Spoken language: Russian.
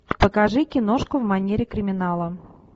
покажи киношку в манере криминала